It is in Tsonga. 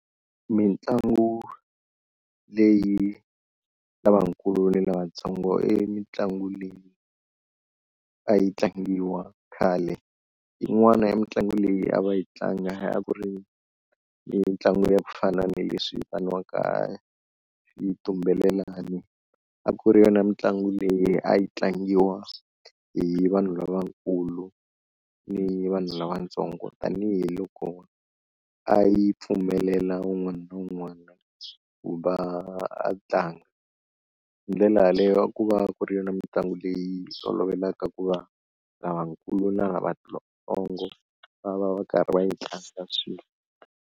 Mitlangu leyi ya lavakulu ni lavatsongo i mitlangu leyi a yi tlangiwa khale, yin'wana ya mitlangu leyi a va yi tlanga a ku ri mitlangu ya ku fana na leswi vitaniwaka xitumbelelani a ku ri yona mitlangu leyi a yi tlangiwa hi vanhu lavakulu ni vanhu lavatsongo tanihiloko a yi pfumelela un'wana na un'wana ku va a tlanga, hi ndlela yaleyo a ku va ku ri na mitlangu leyi tolovelaka ku va lavakulu na lavatsongo va va va karhi va yi tlanga swin'we.